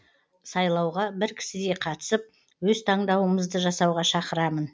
сайлауға бір кісідей қатысып өз таңдауымызды жасауға шақырамын